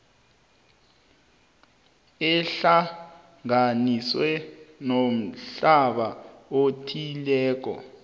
ehlanganiswe nomhlobo othileko